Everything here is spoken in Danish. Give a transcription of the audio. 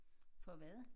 For hvad?